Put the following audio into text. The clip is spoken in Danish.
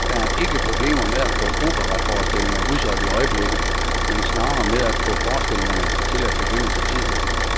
Der er ikke problemer med at få operaforestillinger udsolgt i øjeblikket, men snarere med at få forestillingerne til at begynde til tiden.